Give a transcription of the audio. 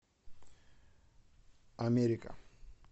америка